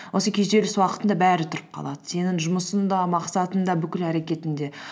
осы күйзеліс уақытында бәрі тұрып қалады сенің жұмысың да мақсатың да бүкіл әрекетің де